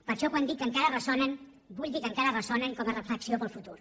per això quan dic que encara ressonen vull dir que encara ressonen com a reflexió per al futur